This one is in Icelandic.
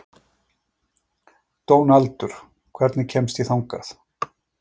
Dónaldur, hvernig kemst ég þangað?